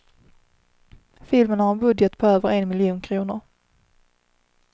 Filmen har en budget på över en miljon kronor.